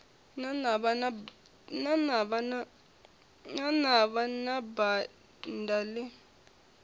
ḽa navha na banda ḽi